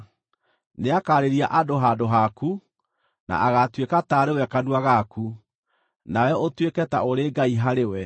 Nĩakaarĩria andũ handũ haku, na agaatuĩka taarĩ we kanua gaku, nawe ũtuĩke ta ũrĩ Ngai harĩ we.